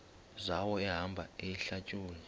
zawo ehamba eyihlalutya